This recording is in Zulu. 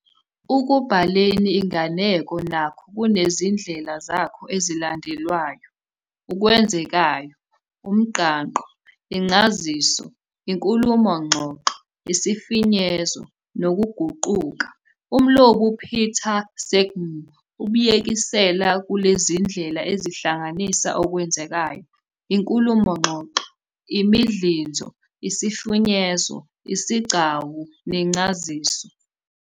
Ukubhaleni inganeko nakho kunezindlela zakho ezilandelwayo- ukwenzekayo, umnqangqo, incaziso, inkulumo-ngxoxo, isifinyezo, nokuguquka. Umlobi uPeter Selgin ubyekisela kulezindlela ezihlanganisa okwenzekayo, inkulumo-ngxoxo, imidlinzo, isifinyezo, izigcawu, nencaziso.